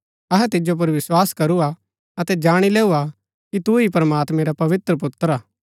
अहै तिजो पुर विस्वास करू हा अतै जाणी लैऊ हा कि तू ही प्रमात्मैं रा पवित्र पुत्र हा